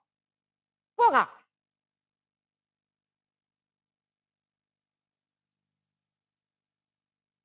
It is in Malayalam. പോകാ